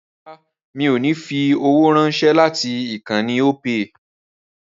Rárá mi ò ní fi owó ránṣẹ́ láti ìkànnì Opay